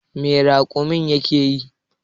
Me raƙumin yake yi?